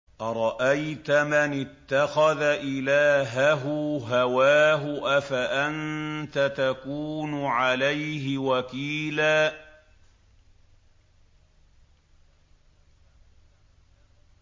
أَرَأَيْتَ مَنِ اتَّخَذَ إِلَٰهَهُ هَوَاهُ أَفَأَنتَ تَكُونُ عَلَيْهِ وَكِيلًا